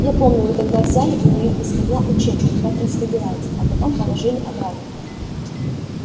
я помню вы тогда взяли у нее из котла учебник по трансфигурации а потом положили обратно